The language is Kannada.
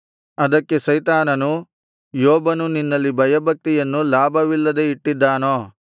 ಅದಕ್ಕೆ ಸೈತಾನನು ಯೋಬನು ನಿನ್ನಲ್ಲಿ ಭಯಭಕ್ತಿಯನ್ನು ಲಾಭವಿಲ್ಲದೆ ಇಟ್ಟಿದ್ದಾನೋ